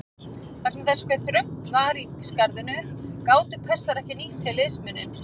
Vegna þess hve þröngt var í skarðinu gátu Persar ekki nýtt sér liðsmuninn.